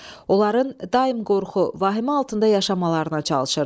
Onların daim qorxu, vahimə altında yaşamalarına çalışırdı.